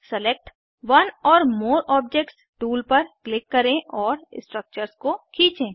select one or more objects tool पर click करें और स्ट्रक्चर्स को खींचें